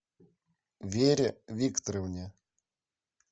вере викторовне